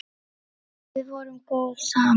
Við vorum góð saman.